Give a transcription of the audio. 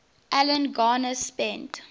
alan garner spent